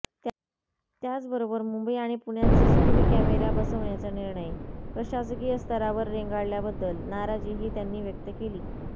त्याचबरोबर मुंबई आणि पुण्यात सीसीटीव्ही कॅमेरा बसवण्याचा निर्णय प्रशासकीय स्तरावर रेंगाळल्याबद्दल नाराजीही त्यांनी व्यक्त केली